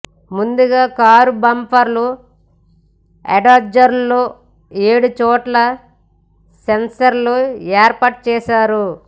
ముందుగా car bumper ఎడ్జ్ల్లో ఏడుచోట్ల సెన్సర్లు ఏర్పాటు చేస్తారు